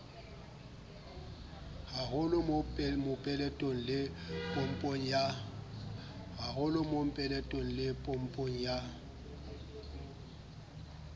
haholo mopeletong le popong ya